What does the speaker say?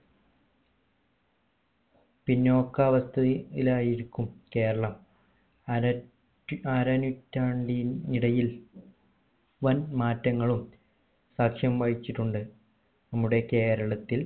പിന്നോക്കാവാസ്ഥയിൽ ആയിരിക്കും കേരളം അരറ്റി അരനൂറ്റാണ്ടി നിടയിൽ വൻ മാറ്റങ്ങളും സാക്ഷ്യം വഹിച്ചിച്ചുണ്ട് നമ്മുടെ കേരളത്തിൽ